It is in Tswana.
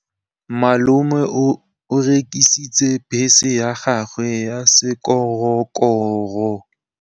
Malome o rekisitse bese ya gagwe ya sekgorokgoro.